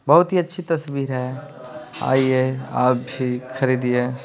बहुत ही अच्छी तस्वीर हैं आइए आप भी खरीदिए --